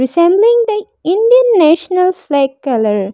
Resembling the Indian national flag colour.